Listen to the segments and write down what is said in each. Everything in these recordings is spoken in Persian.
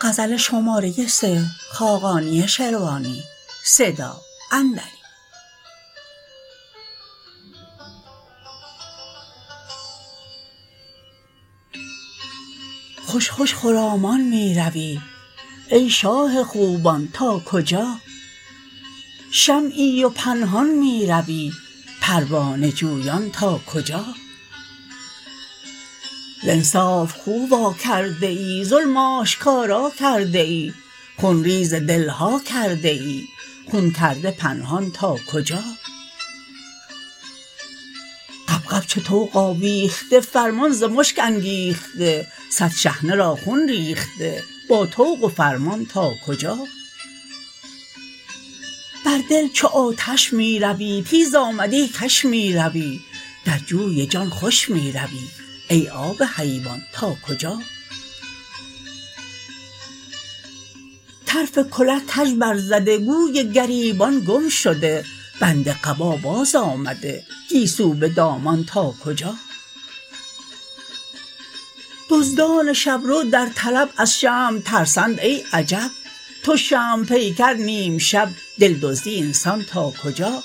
خوش خوش خرامان می روی ای شاه خوبان تا کجا شمعی و پنهان می روی پروانه جویان تا کجا ز انصاف خو واکرده ای ظلم آشکارا کرده ای خونریز دل ها کرده ای خون کرده پنهان تا کجا غبغب چو طوق آویخته فرمان ز مشک انگیخته صد شحنه را خون ریخته با طوق و فرمان تا کجا بر دل چو آتش می روی تیز آمدی کش می روی در جوی جان خوش می روی ای آب حیوان تا کجا طرف کله کژ برزده گوی گریبان گم شده بند قبا بازآمده گیسو به دامان تا کجا دزدان شبرو در طلب از شمع ترسند ای عجب تو شمع پیکر نیم شب دل دزدی اینسان تا کجا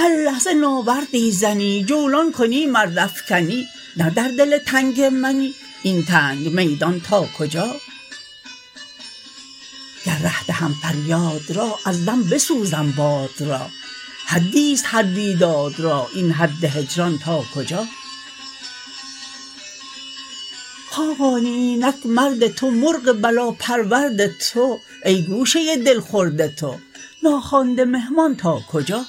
هر لحظه ناوردی زنی جولان کنی مرد افکنی نه در دل تنگ منی ای تنگ میدان تا کجا گر ره دهم فریاد را از دم بسوزم باد را حدی است هر بیداد را این حد هجران تا کجا خاقانی اینک مرد تو مرغ بلا پرورد تو ای گوشه دل خورد تو ناخوانده مهمان تا کجا